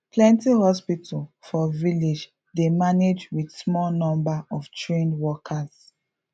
plenty hospital for village dey manage with small number of trained workers